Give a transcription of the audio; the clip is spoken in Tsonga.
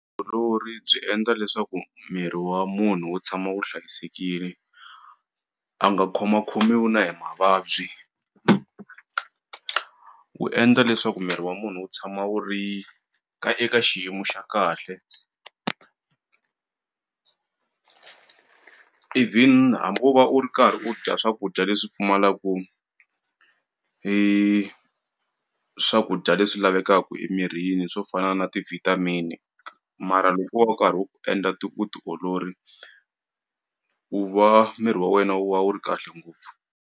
Byi endla leswaku miri wa munhu wu tshama wu hlayisekini a nga khoma khomiwi na hi mavabyi wu endla leswaku miri wa munhu wu tshama wu ri ka eka xiyimo xa kahle even hambi o va u ri karhi u dya swakudya leswi pfumalaku swakudya leswi lavekaku emirini swo fana na ti vitamin mara loko wo ka rhu endla swa vutiolori u va miri wa wena wu va wu ri kahle ngopfu.